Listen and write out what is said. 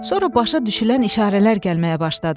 Sonra başa düşülən işarələr gəlməyə başladı.